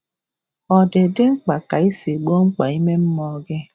Ọ̀ dị dị mkpa ka i si gboo mkpa ime mmụọ um gị?